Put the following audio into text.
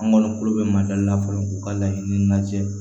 An kɔni bɛ mali la fɔlɔ u ka laɲini lajɛ